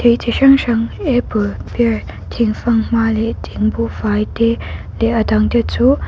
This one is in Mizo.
thei chi hrang hrang apple pear thingfanghma leh thingbuhfai te leh a dang te chu--